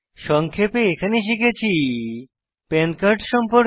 সংক্ষেপে এখানে শিখেছি পান কার্ড সম্পর্কে